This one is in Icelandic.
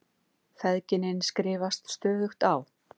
Feðginin skrifast stöðugt á.